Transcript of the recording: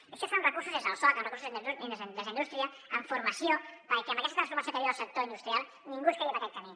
i això es fa amb recursos des del soc amb recursos des d’indústria amb formació perquè amb aquesta transformació que viu el sector industrial ningú es quedi per aquest camí